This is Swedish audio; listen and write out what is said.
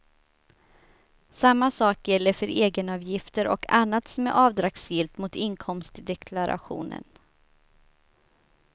Samma sak gäller för egenavgifter och annat som är avdragsgillt mot inkomst i deklarationen.